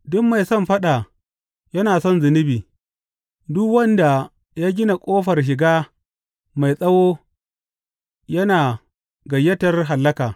Duk mai son faɗa yana son zunubi, duk wanda ya gina ƙofar shiga mai tsawo yana gayyatar hallaka.